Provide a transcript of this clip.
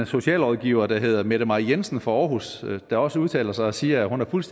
socialrådgiver der hedder mette mai jensen fra aarhus der også udtaler sig og siger at hun har fuld